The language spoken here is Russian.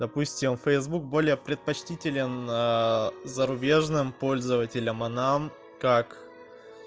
допустим фейсбук более предпочтителен зарубежным пользователям а нам как